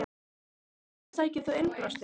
Hvert sækir þú innblástur?